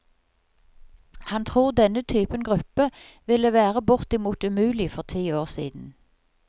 Han tror denne typen gruppe ville være bortimot umulig for ti år siden.